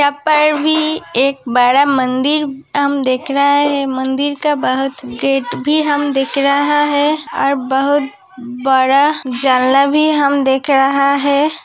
यहां पर भी एक बड़ा मंदिर हम देख रहा है। मंदिर का बोहोत गेट भी हम देख रहा है और बोहोत बड़ा जलना भी हम देख रहा है।